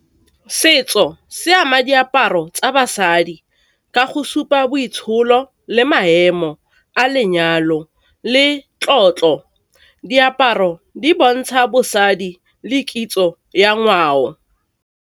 Setso se ama diaparo tsa basadi ka go supa boitsholo, le maemo a lenyalo, le tlotlo. Diaparo di bontsha bosadi le kitso ya ngwao.